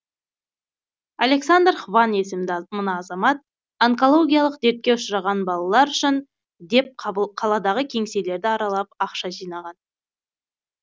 александр хван есімді мына азамат онкологиялық дертке ұшыраған балалар үшін деп қаладағы кеңселерді аралап ақша жинаған